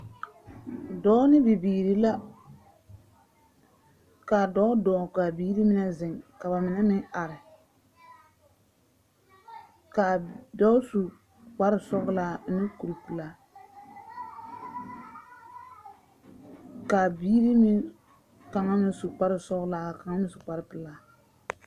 Dɔɔ ne bibiiri la. Kaa dɔɔ dɔɔ ka a biiri mine zeŋ, ka ba mine meŋ are. Kaa dɔɔ su kpare sɔglaa ane kuri pelaa, kaa biiri meŋ, kaŋa meŋ su kpare sɔglaa, kaŋa meŋ su kpare pelaa.